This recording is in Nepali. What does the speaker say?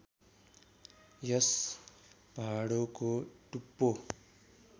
यस भाँडोको टुप्पो